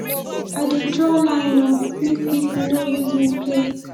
i dey draw line o make pipo no use me play